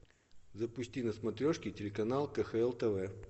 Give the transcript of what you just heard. запусти на смотрешке телеканал кхл тв